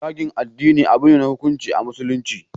Zagin addini abune na hukunci a musulunci